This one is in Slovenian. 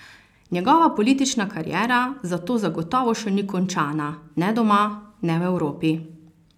Njegova politična kariera zato zagotovo še ni končana, ne doma ne v Evropi.